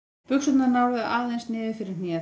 Buxurnar náðu aðeins niður fyrir hnéð.